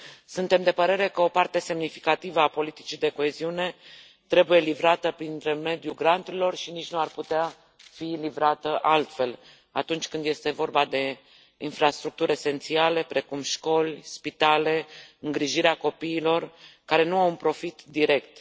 Suntem de părere că o parte semnificativă a politicii de coeziune trebuie livrată prin intermediul granturilor și nici nu ar putea fi livrată altfel atunci când este vorba de infrastructuri esențiale, precum școli, spitale, îngrijirea copiilor care nu au un profit direct.